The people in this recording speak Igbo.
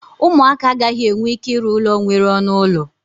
ụmụaka agaghị enwe ike ịrụ ụlọ nwere ọnụ ụlọ